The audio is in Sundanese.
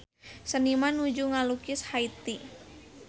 Seniman nuju ngalukis Haiti